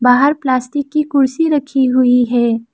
बाहर प्लास्टिक की कुर्सी रखी हुई है।